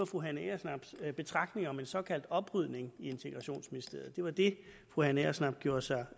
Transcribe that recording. fru hanne agersnaps betragtninger om en såkaldt oprydning i integrationsministeriet det var det fru hanne agersnap gjorde sig